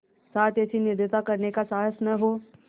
साथ ऐसी निर्दयता करने का साहस न हो